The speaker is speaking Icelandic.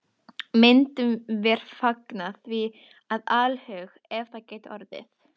Myndum vér fagna því af alhug, ef það gæti orðið.